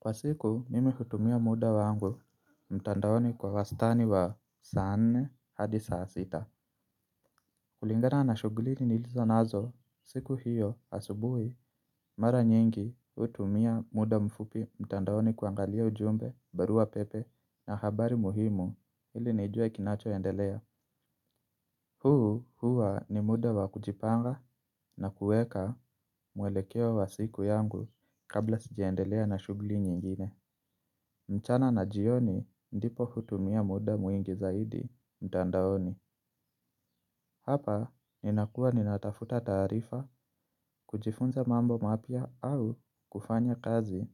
Kwa siku mimi hutumia muda wangu mtandaoni kwa wastani wa saa nne hadi saa sita. Kulingana na shughuli nilizo nazo siku hiyo asubuhi mara nyingi hutumia muda mfupi mtandaoni kuangalia ujumbe barua pepe na habari muhimu ili nijue kinachoendelea. Huu huwa ni muda wa kujipanga na kuweka mwelekeo wa siku yangu kabla sijaendelea na shughuli nyingine. Mchana na jioni ndipo hutumia muda mwingi zaidi mtandaoni. Hapa ninakuwa ninatafuta taarifa kujifunza mambo mapya au kufanya kazi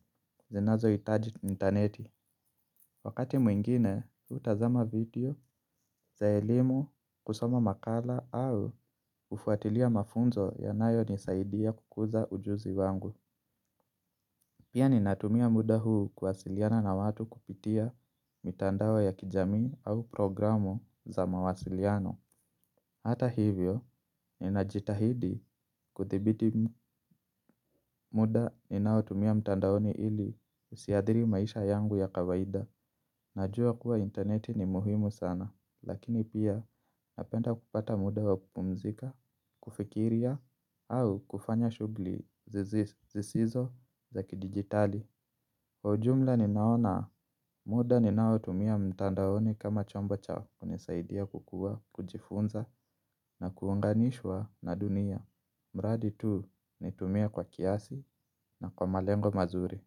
zinazohitaji intaneti. Wakati mwingine hutazama video za elimu kusoma makala au hufuatilia mafunzo yanayonisaidia kukuza ujuzi wangu. Pia ninatumia muda huu kuwasiliana na watu kupitia mitandao ya kijamii au programu za mawasiliano. Hata hivyo, ninajitahidi kuthibiti muda ninaotumia mtandaoni ili usiathiri maisha yangu ya kawaida. Najua kuwa intaneti ni muhimu sana, lakini pia napenda kupata muda wa kupumzika, kufikiria, au kufanya shughuli zisizo za kidijitali. Ujumla ninaona muda ninaotumia mtandaoni kama chombo cha kunisaidia kukua, kujifunza na kuunganishwa na dunia. Mradi tu nitumie kwa kiasi na kwa malengo mazuri.